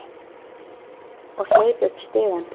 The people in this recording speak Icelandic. Og hleyp upp stigann.